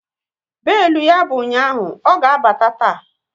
Belu ya bụ ụnyaahụ, ọ ga abata taa